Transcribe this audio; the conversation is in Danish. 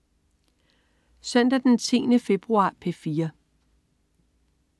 Søndag den 10. februar - P4: